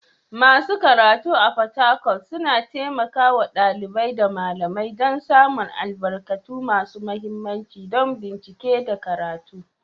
Masu karatu a Fatakwal suna taimaka wa ɗalibai da malamai don samun albarkatu masu mahimmanci don bincike da karatu.